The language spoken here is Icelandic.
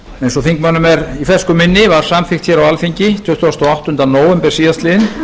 eins og þingmönnum er í fersku minni var samþykkt á alþingi tuttugasta og áttunda nóvember síðastliðinn